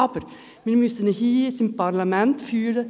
Aber: Wir müssen sie hier im Parlament führen.